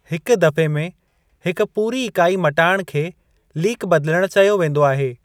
हिक दफ़े में हिकु पूरी इकाई मटाइणु खे लीक बदिलणु चयो वेंदो आहे।